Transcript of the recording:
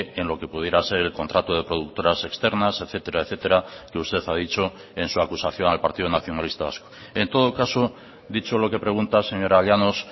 en lo que pudiera ser el contrato de productoras externas etcétera etcétera que usted ha dicho en su acusación al partido nacionalista vasco en todo caso dicho lo que pregunta señora llanos